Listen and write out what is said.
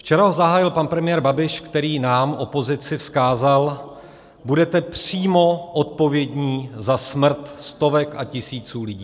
Včera zahájil pan premiér Babiš, který nám, opozici, vzkázal: Budete přímo odpovědní za smrt stovek a tisíců lidí.